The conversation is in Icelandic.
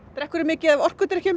drekk of mikið af orkudrykkjum